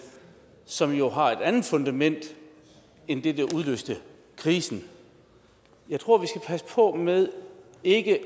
som jo har et andet fundament end det der udløste krisen jeg tror vi skal passe på med ikke